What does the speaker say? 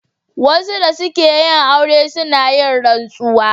Wasu da suke yin aure suna yin rantsuwa.